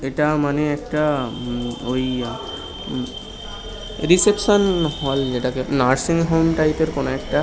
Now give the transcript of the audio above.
এটা মানে একটা হুম ওই রিসেপশন হল যেটাকে নার্সিং হোম টাইপ এর কোনো একটা ।